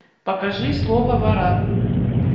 покажи слово варан